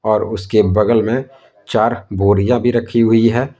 और उसके बगल में चार बोरिया भी रखी हुई है।